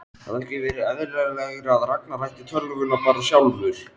Hefði ekki verið eðlilegra að Ragnar ætti tölvuna bara sjálfur?